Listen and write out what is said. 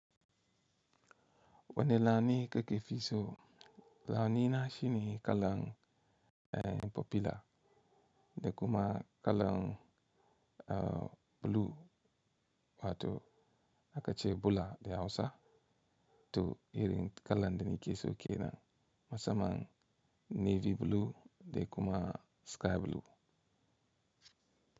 Wanne launi keke fi so? Launi na shi ne kalan popular da kuma kalan. Blue wato aka ce bula da Hausa. To irin kalan da nike so ke nan musamman navy blue da kuma sky blue.